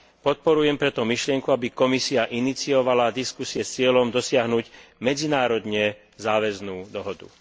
Podporujem preto myšlienku, aby Komisia iniciovala diskusie s cieľom dosiahnuť medzinárodne záväznú dohodu.